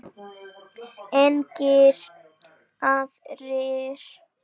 Engir aðrir?